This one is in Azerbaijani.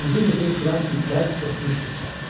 Uzun-uzun kürən tüklər örtmüşdü sifətini.